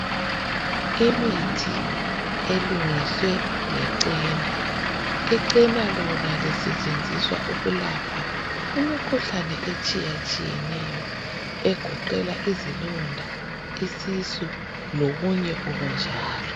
imithi elungiswe ngechena ichena lona lisetshenziswa ukulapha imikhuhlane etshiyatshiyeneyo egoqela izilonda isisu lokunye okunjalo